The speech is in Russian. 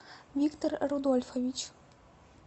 виктор рудольфович